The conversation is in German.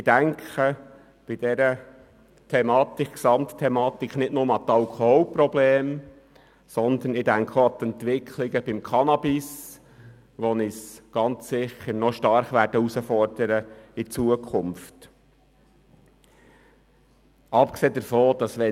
Ich denke bei dieser Gesamtthematik nicht nur an die Alkoholprobleme, sondern auch an die Entwicklungen beim Cannabis, die uns in Zukunft noch stark herausfordern werden.